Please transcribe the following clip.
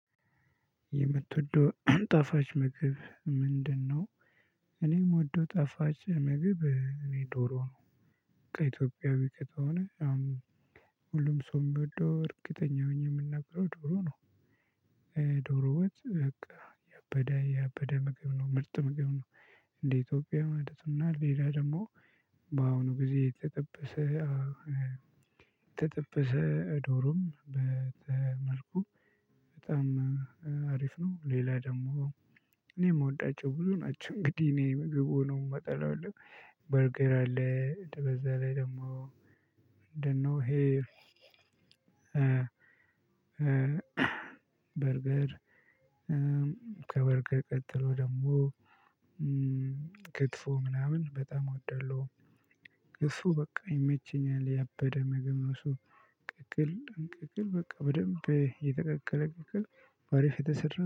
የምትወደው ጣፋጭ ምግብ ምንድነው? እኔ ምወደው ጣፋጭ ምግብ እኔ ዶሮ ነው። ከኢትዮጵያዊ ከተሆነ አሁን ሁሉም ሰው የሚወደው እርግጠኛ ሆኜ የምናገረው ዶሮ ነው። እ ዶሮ ወጥ በቃ ያበደ ያበደ ምግብ ነው ምርጥ ምግብ ነው። እንደ ኢትዮጵያ ማለት ነው ሌላ ደግሞ በአሁኑ ጊዜ የተጠበሰ እ የተጠበሰ ዶሮም በተመልኩ በጣም እ እ አሪፍ ነው። ሌላ ደግሞ እኔ የምወዳቸው ብዙ ናቸው እንግዲህ እኔ ምግብ ነው የምጠላው የለም። በርገር አለ በዛ ላይ ደግሞ ምንድነው? እ እ በርገር ከበርገር ቀጥሎ ደግሞ እ ክትፎ ምናምን በጣም እወዳለሁ። እሱ በቃ ይመቸኛል ያበደ ምግብ ነው። እሱ ቅቅል እ ቅቅል በቃ በደንብ የተቀቀለ ቅቅል በአሪፍ የተሰራ